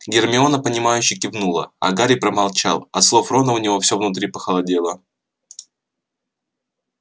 гермиона понимающе кивнула а гарри промолчал от слов рона у него всё внутри похолодело